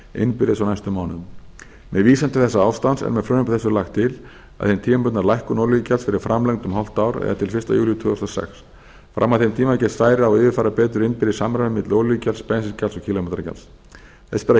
innbyrðis á næstu mánuðum með vísan til þessa ástands er með frumvarpi þessu lagt til að hin tímabundna lækkun olíugjalds verði framlengd um hálft ár eða til fyrsta júlí tvö þúsund og sex fram að þeim tíma gefst færi á að yfirfæra betur innbyrðis samræmi milli olíugjalds bensíngjalds og kílómetragjalds þess ber að